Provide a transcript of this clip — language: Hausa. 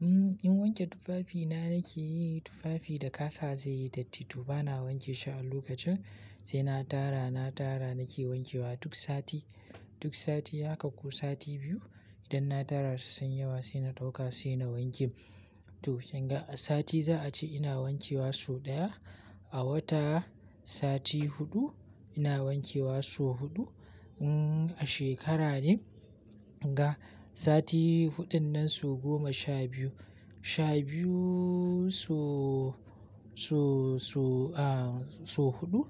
Hmm in wanke tufafi na nake yi tufafi da kasa zai yi datti to bana wanke shi a lokacin sai na tara, na tara nake wanke wa duk sati. Duk sati haka ko sati biyu idan na tara su sun yi yawa sai na ɗauka sai na wanke. To kinga a sati za a ce ina wanke wa sau ɗaya. A wata sati huɗu ina wanke wa sau huɗu. Hmm a shekara ne ga sati huɗun nan su goma sha biyu. Sha biyu sau sau sau aah sau huɗu.